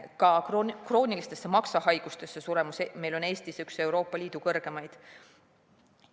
Ka kroonilistesse maksahaigustesse suremus on Eestis üks Euroopa Liidu kõrgemaid.